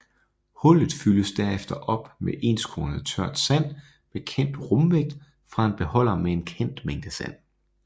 Hullet fyldes herefter op med enskornet tørt sand med kendt rumvægt fra en beholder med en kendt mængde sand